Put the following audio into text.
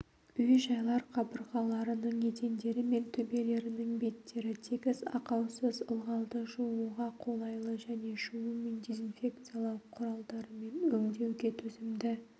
үй-жайлар қабырғаларының едендері мен төбелерінің беттері тегіс ақаусыз ылғалды жууға қолайлы және жуу мен дезинфекциялау құралдарымен өңдеуге төзімді